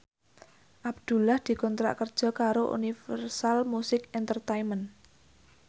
Abdullah dikontrak kerja karo Universal Music Entertainment